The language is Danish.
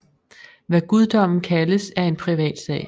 Hvad guddommen kaldes er en privat sag